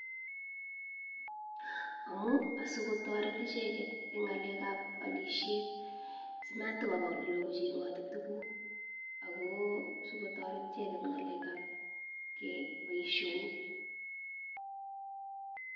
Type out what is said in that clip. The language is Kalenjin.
Amu sikotaret icheket ing ngalk ab akisiet simatokopa olelo kochengoti tukuk ako sikotaret icheket ing ng'alek ab baishonik.